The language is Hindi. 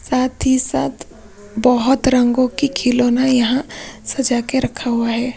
साथ ही साथ बहुत रंगों की खिलौना यहां सजा के रखा हुआ है।